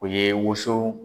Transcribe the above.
O ye woson